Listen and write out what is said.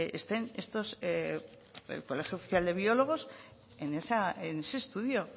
estén el colegio oficial de biólogos en ese estudio